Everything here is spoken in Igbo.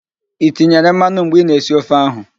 I tinyere mmanụ mgbe ị na-esi ofe ahụ?